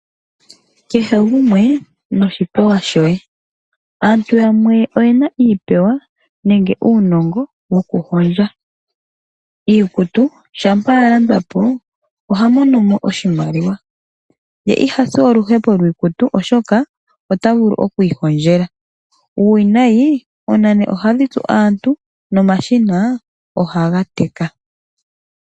Kehe gumwe noshipewa shoye, aantu yamwe oyena iipewa nenge uunongo wo kuhondja iikutu. Shampa ya landwapo oha mono mo oshimaliwa, ye ihasi oluhepo lwiikutu oshoka ota vulu okwiihondjela. Uuwinayi oonane ohadhi tsu aantu no mashina ohaga teka.